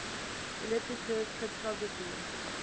elliptic curve cryptography